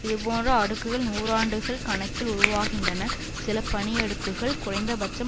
இதுபோன்ற அடுக்குகள் நூறாண்டுகள் கணக்கில் உருவாகின்றன சில பனியடுக்குகள் குறைந்தபட்சம்